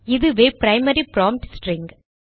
இதுவே primary prompt string